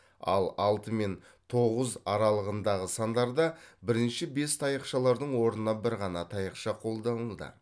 ал алты мен тоғыз аралығындағы сандарда бірінші бес таяқшалардың орнына бір ғана таяқша қолданылды